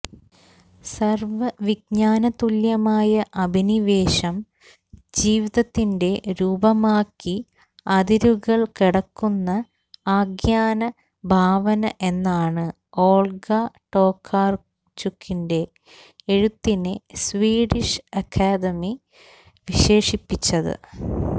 സര്വ്വവിജ്ഞാനതുല്യമായ അഭിനിവേശം ജീവിതത്തിന്റെ രൂപമാക്കി അതിരുകള് കടക്കുന്ന ആഖ്യാന ഭാവന എന്നാണ് ഓള്ഗ ടോകാര്ചുക്കിന്റെ എഴുത്തിനെ സ്വീഡിഷ് അക്കാദമി വിശേഷിപ്പിച്ചത്